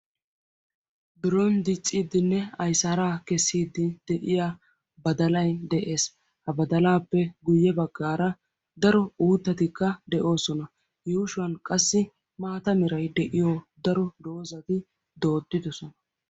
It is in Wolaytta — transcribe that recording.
Biron dicciddinne ayssara kessidde de'iya baddalay de'ees. Hagettu matan daro mitatti doddidosonna.